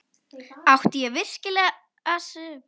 Átti ég virkilega að setjast í stólinn?